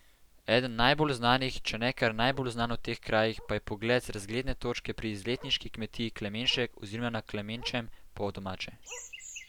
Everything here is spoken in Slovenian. Eden najbolj znanih, če ne kar najbolj znan v teh krajih, pa je pogled z razgledne točke pri izletniški kmetiji Klemenšek oziroma na Klemenčem po domače.